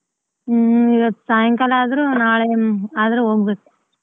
ಹ್ಮ್ ಇವತ್ತ್ ಸಾಯಂಕಾಲ ಆದ್ರೂ ನಾಳೆ ಒನ್ ಆದ್ರೆ ಹೋಗ್ಬೇಕು.